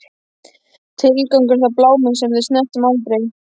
Tilgangur, er það bláminn sem við snertum aldrei?